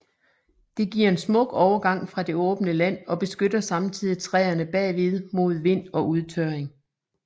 Det giver en smuk overgang fra det åbne land og beskytter samtidig træerne bagved mod vind og udtørring